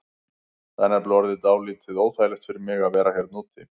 Það er nefnilega orðið dálítið óþægilegt fyrir mig að vera hérna úti.